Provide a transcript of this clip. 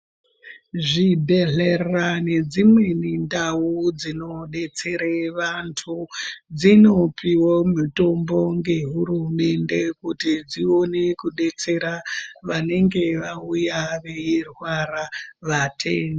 Zvibhedhlera nedzimweni ndau dzinodetsere vantu, dzinopiwo mitombo ngehurumende kuti dziwone kudetsera vanenge vawuya veyirwarwa .